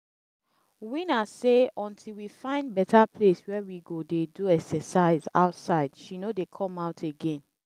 winner say until we find better place where we go dey do exercise outside she no dey come out again